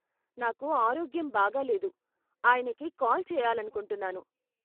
నాకు ఆరోగ్యం బాగాలేదు, ఆయనకి కాల్ చేయాలనుకుంటున్నాను.